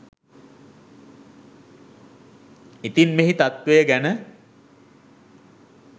ඉතින් මෙහි තත්වය ගැන